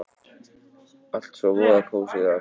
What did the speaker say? Allt svo voða kósí þar!